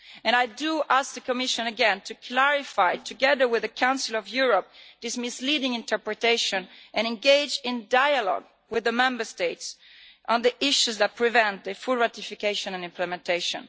I do ask the Commission again to clarify, together with the Council of Europe, this misleading interpretation and engage in dialogue with the Member States on the issues that prevent the full ratification and implementation.